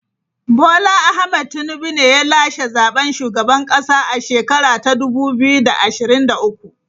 Bola Ahmed Tinubu ne ya lashe zaben shugaban kasa a shekara ta dubu biyu da ashirin da uku.